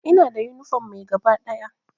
Ina da yunifom mai gaba ɗaya.